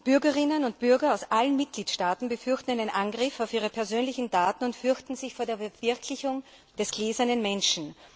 Bürgerinnen und Bürger aus allen Mitgliedstaaten befürchten einen Angriff auf ihre persönlichen Daten und fürchten sich vor der Verwirklichung des gläsernen Menschen.